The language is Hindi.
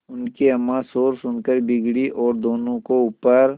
उनकी अम्मां शोर सुनकर बिगड़ी और दोनों को ऊपर